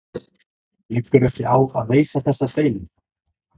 Liggur ekki á að leysa þessa deilu?